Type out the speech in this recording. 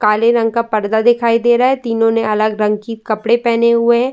काले रंग का पर्दा दिखाई दे रहा है। तीनो ने अलग रंग की कपड़े पहने हुए है।